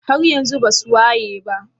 haryanzun basu wayeba?